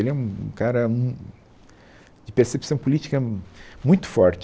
Ele é um cara de percepção política muito forte.